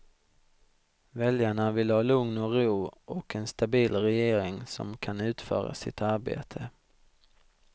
Väljarna vill ha lugn och ro, och en stabil regering som kan utföra sitt arbete.